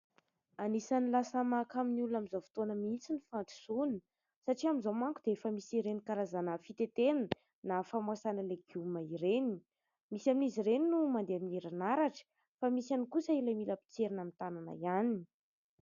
Anisany lasa mahakamo ny olona amin'izao fotoana mihitsy ny fandrosoana. Satria amin'izao manko dia efa misy ireny karazana fitetehana, na famoasana legioma ireny ; misy amin'izy ireny no mandeha amin'ny herinaratra, fa misy ihany kosa ilay mila potserina amin'ny tanana ihany.